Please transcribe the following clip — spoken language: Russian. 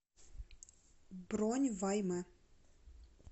бронь вай мэ